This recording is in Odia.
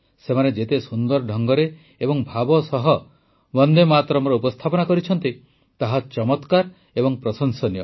ସେମାନେ ଯେତେ ସୁନ୍ଦର ଢଙ୍ଗରେ ଏବଂ ଭାବ ସହ ବନ୍ଦେ ମାତରମ୍ ର ଉପସ୍ଥାପନା କରିଛନ୍ତି ତାହା ଚମତ୍କାର ଏବଂ ପ୍ରଶଂସନୀୟ